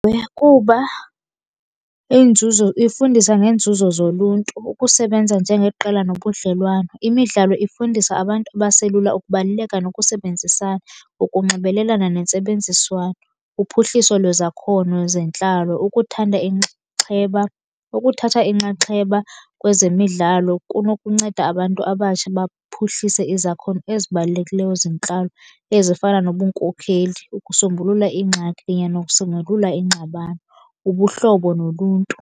Ewe, kuba inzuzo ifundisa ngeenzuzo zoluntu, ukusebenza njengeqela nobudlelwane. Imidlalo ifundisa abantu abaselula ukubaluleka nokusebenzisana ngokunxibelelana nentsebenziswano. Uphuhliso lwezakhono zentlalo, ukuthanda inxaxheba, ukuthatha inxaxheba kwezemidlalo kunokunceda abantu abatsha baphuhlise izakhono ezibalulekileyo zentlalo, ezifana nobunkokheli, ukusombulula iingxaki kunye nokusombulula iingxabano, ubuhlobo noluntu.